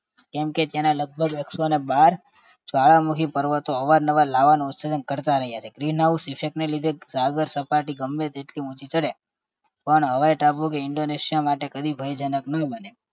કેમ કે તેના લગભગ એકસો ને બાર જ્વાળામુખી પર્વતો અવારનવાર લાવાનું ઉત્સર્જન કરતા રહ્યા છે green house effect ને લીધે સાગર સપાટી ગમે તેટલી ઊંચી ચડે પણ હવાઈ ટાપુ કે indonesia માટે કદી ભયજનક ન બને